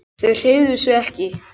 Þau hreyfðu sig ekki.